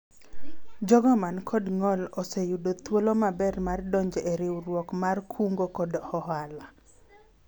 jogo man kod ng'ol oseyudo thuolo maber mar donjo e riwruogwa mar kungo kod hola